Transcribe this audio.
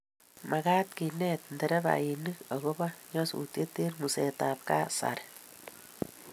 magaat kenet nderefainik agoba nyasusiet eng ngusetab kasari